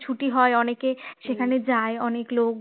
ছুটি হয় অনেকের সেখানে যায় অনেক লোক